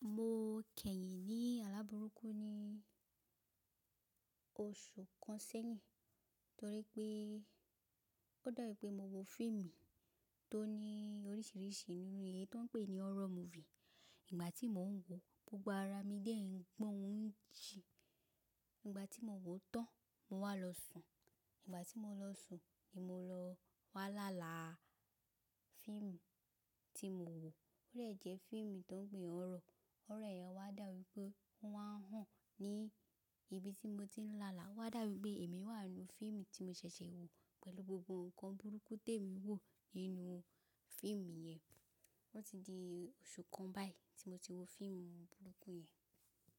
Mo kẹ́yìn ní alábùrukú ní oṣù kan sẹ́yìn, torí pé ó dàbí pé mo wo fíìmù tó ní oríṣiríṣi nínú èyí tó ń pè ní horror movie. Ígbà tí mò ń wò ó, gbogbo ara mi dẹ́ n pọ́n ń jí. Ígbà tí mo wò ó tán, mo wá lọ sùn. Ígbà tí mo lọ sùn ni mo lọ wá láàlá fíìmù tí mo wò ó, ó dẹ̀ jẹ́ fíìmù tó ń pè ní horror. Horror yẹn wá dà bi wípé ó wá n hán ní ibi tí mo ti ń lààlá. Owá dàbi wípé èmi wà n nú fíìmù tí mo ṣẹ̀ṣẹ̀ wò pẹ̀lú gbogbo ǹkan burúkú tí èmi wò nínú fíìmù yẹn. O ti di oṣù kan báyìí tí mo ti wo fíìmù burúkú yẹn.